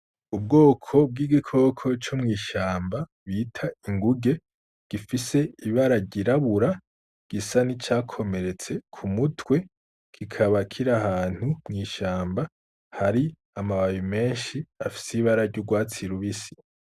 Ubwoko bw'igikoko co mw'ishamba bita inguge gifise ibararyirabura gisa ni cakomeretse ku mutwe gikabakira ahantu mw'ishamba hari amabaye menshi afise ibara ry'urwatsirubisi.